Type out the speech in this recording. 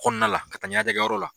Kɔnala ka taa ɲanajɛ kɛ yɔrɔ la.